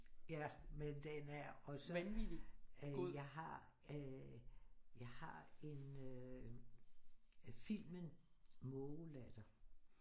Ja men den er også øh jeg har øh jeg har en øh filmen Mågelatter